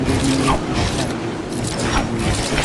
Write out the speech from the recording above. okumele ihlale ivaliwe